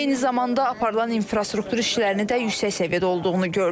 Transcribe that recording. Eyni zamanda aparılan infrastruktur işlərinin də yüksək səviyyədə olduğunu gördük.